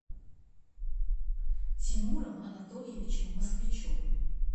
тимуром анатольевичем москвичевым